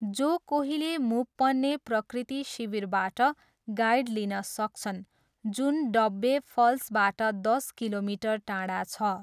जो कोहीले मुप्पने प्रकृति शिविरबाट गाइड लिन सक्छन् जुन डब्बे फल्सबाट दस किलोमिटर टाढा छ।